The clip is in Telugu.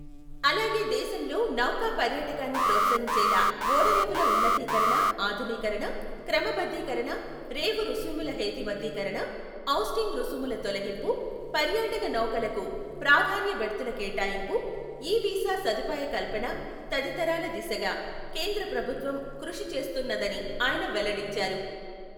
అలాగే దేశంలో నౌకా పర్యాటకాన్ని ప్రోత్సహించేలా ఓడరేవుల ఉన్నతీకరణ ఆధునీకరణ, క్రమబద్ధీకరణ రేవు రుసుముల హేతుబద్ధీకరణ, ఔస్టింగ్ రుసుముల తొలగింపు, పర్యాటక నౌకలకు ప్రాధాన్య బెర్తుల కేటాయింపు, ఇ వీసా సదుపాయ కల్పన తదితరాల దిశగా కేంద్ర ప్రభుత్వం కృషి చేస్తున్నదని ఆయన వెల్లడించారు.